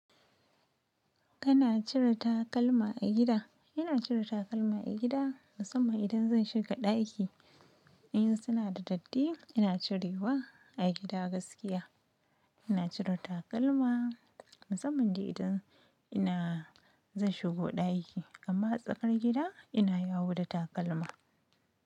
Kana cire takalma a gida? Ina cire takalma a gida, musamman idan zan shiga ɗaki. In suna da datti, ina cirewa a gida gaskiya. Ina cire takalma musamman dai idan ina zan shigo ɗaki, amma tsakar gida ina yawo da takalma.